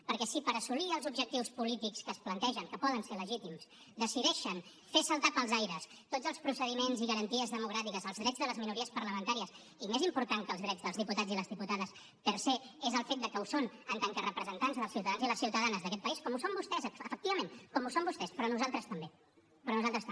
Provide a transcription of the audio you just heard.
perquè si per assolir els objectius polítics que es plantegen que poden ser legítims decideixen fer saltar pels aires tots els procediments i garanties democràtiques els drets de les minories parlamentàries i més important que els drets dels diputats i les diputades per sei les ciutadanes d’aquest país com ho són vostès efectivament com ho són vostès però nosaltres també però nosaltres també